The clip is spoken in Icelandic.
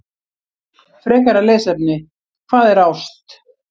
Frekara lesefni: Hvað er ást?